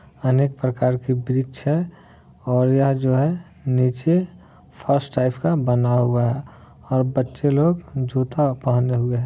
अनेक प्रकार की वृक्ष और यह जो नीचे फर्श टाइप का बना हुआ है और बच्चे लोग जूता पहने हुए है।